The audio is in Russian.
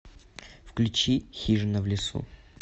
включи хижина в лесу